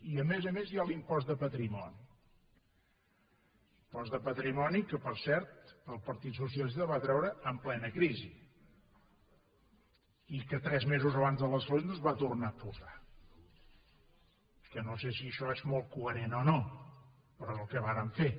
i a més a més hi ha l’impost de patrimoni impost de patrimoni que per cert el partit socialista va treure en plena crisi i que tres mesos abans de les eleccions es va tornar a posar que no sé si això és molt coherent o no però és el que varen fer